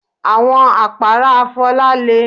Àwọn àpárá Fola le